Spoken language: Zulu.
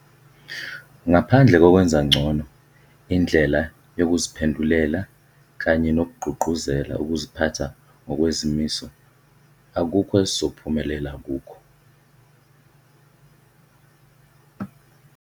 Ngaphandle kokwenza ngcono indlela yokuziphendulela kanye nokugqugquzela ukuziphatha ngokwezimiso, akukho esizophumelela kukho.